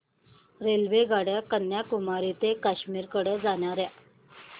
रेल्वेगाड्या कन्याकुमारी ते काश्मीर कडे जाणाऱ्या